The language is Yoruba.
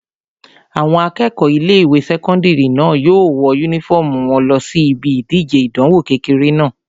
Àwọn akẹ́kọ̀ọ́ ilé-ìwé sẹ́kọ́ndìrì náà yóò wọ yúnífọ́ọ̀mù wọn lọ síbi ìdíje ìdánwò kékeré náà